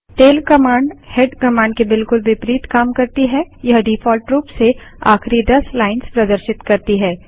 tail command head command के बिलकुल विपरीत काम करती है यह डिफॉल्ट रूप से आखिरी दस लाइन्स प्रदर्शित करती है